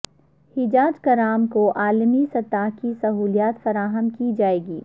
حجاج کرام کو عالمی سطح کی سہولیات فراہم کی جائیں گی